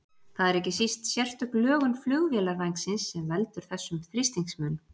Það er ekki síst sérstök lögun flugvélarvængsins sem veldur þessum þrýstingsmun.